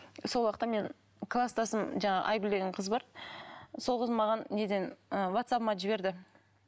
сол уақытта мен кластасым жаңағы айгүл деген қыз бар сол қыз маған неден ы ватсабыма жіберді